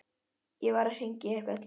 Ég varð að hringja í einhvern.